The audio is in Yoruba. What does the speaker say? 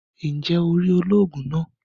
Njé o rí olóògùn náà?